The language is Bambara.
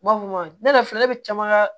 N b'a fɔ ne yɛrɛ filɛ ne bɛ caman ka